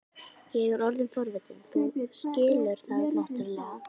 Ég er orðinn forvitinn, þú skilur það náttúrlega.